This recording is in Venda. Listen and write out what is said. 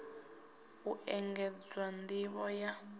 u engedzwa nd ivho ya